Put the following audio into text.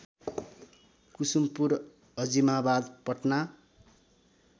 Kusumpur Azimabad Patna